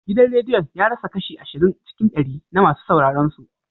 Gidan rediyon ya rasa kashi ashirin cikin ɗari na masu sauraron su.